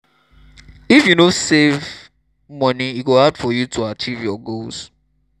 if you no save moni e go hard for you to achieve your goals.